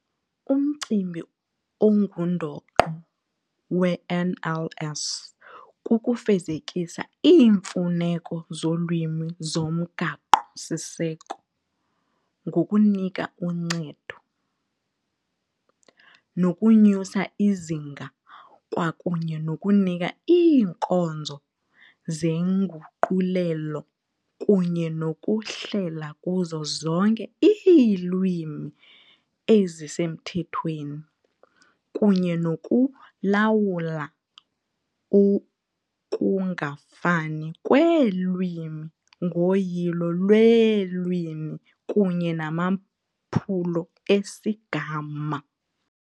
Umcimbi ongundoqo we-NLS kukufezekisa iimfuneko zolwimi zoMgaqo Siseko ngokunika uncedo, nokunyusa izinga kwakunye nokunika iinkonzo zenguqulelo kunye nokuhlela kuzo zonke iilwimi ezisemthethweni kunye nokulawula ukungafani kweelwimi ngoyilo lweelwimi kunye namaphulo esigama.